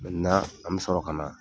an bɛ sɔrɔ ka na,